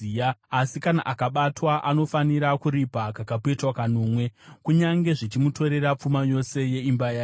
Asi kana akabatwa, anofanira kuripa kakapetwa kanomwe, kunyange zvichimutorera pfuma yose yeimba yake.